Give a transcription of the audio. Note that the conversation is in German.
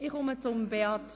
Ich komme zu Beat Giauque.